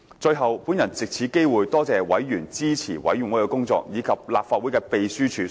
最後，我藉此機會多謝委員支持事務委員會的工作，以及立法會秘書處所付出的辛勞。